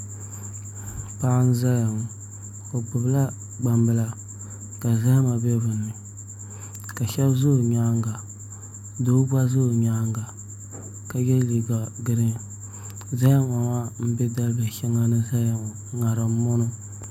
Paɣa n ʒɛya ŋɔ o gbubila gbambila ka zahama bɛ dinni ka shab ʒɛ o nyaanga doo gba ʒɛ o nyaanga ka yɛ liiga zahama maa n bɛ dalibihi shɛŋa za ŋarim ŋɔ ni ŋɔ